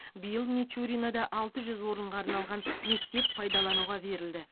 биыл мичуринода алты жүз орынға арналған мектеп пайдалануға берілді